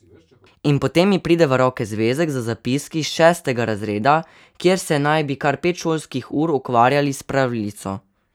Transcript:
In potem mi pride v roke zvezek z zapiski šestega razreda, kjer se naj bi kar pet šolskih ur ukvarjali s pravljico!